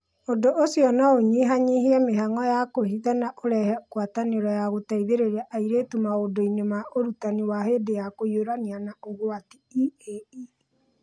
Ũndũ ũcio no ũnyihanyihie mĩhang'o ya kwĩhitha na ũrehe ngwatanĩro ya gũteithĩrĩria airĩtu maũndũ-inĩ ma Ũrutani wa hĩndĩ ya kũhiũrania na ũgwati (EiE).